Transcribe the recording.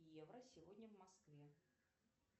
евро сегодня в москве